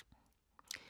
DR2